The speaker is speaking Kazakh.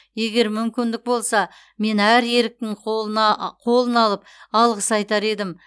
егер мүмкіндік болса мен әр еріктінің қолын алып алғыс айтар едім